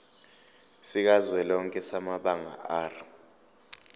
sikazwelonke samabanga r